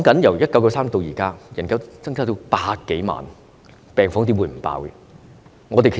由1993年至今，人口增加了100多萬，病房怎會不爆滿？